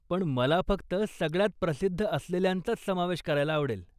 पण, मला फक्त सगळ्यांत प्रसिद्ध असलेल्यांचाच समावेश करायला आवडेल.